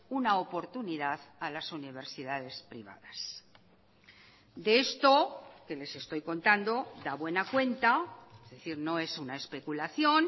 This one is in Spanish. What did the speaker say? una oportunidad a las universidades privadas de esto que les estoy contando da buena cuenta es decir no es una especulación